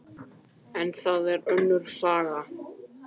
En það er önnur saga.